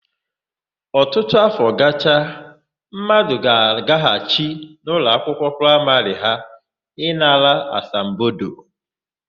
Ọtụtụ áfọ gacha, mmadụ ga-agaghachi n'ụlọakwụkwọ praịmarị ha ịnara asambodo.